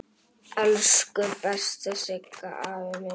Elsku besti Siggi afi minn.